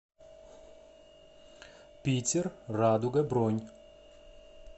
питер радуга бронь